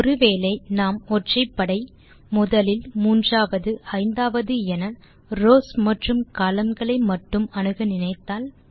ஒரு வேளை நாம் ஒற்றைப்படை முதலில் மூன்றாவது ஐந்தாவது என ரவ்ஸ் மற்றும் கொலம்ன்ஸ் களை மட்டும் அணுக நினைத்தால்